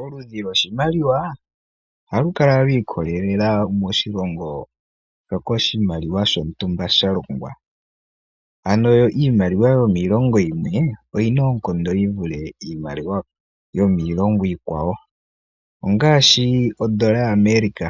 Oludhi kwoshimaliwa ohalu kala lwiikolelela kutya oshalongwa moshilongo peni. Ano iimaliwa yomiilongo yimwe oyina oonkondo yi vule iikwawo. Ngaashi ondola yimwe yaAmerica